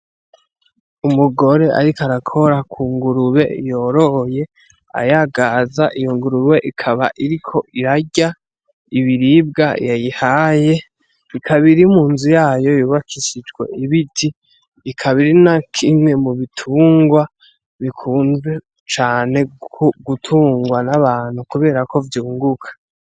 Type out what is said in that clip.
Umugore, ariko arakora ku ngurube yoroye ayagaza iyo ngurube ikaba iriko irarya ibiribwa yayihaye ikabiri mu nzu yayo yubakishijwe ibiti ikabiri na kimwe mu bitungwa bikunzwe cane gutungwa n'abantu, kubera ko vyunguka.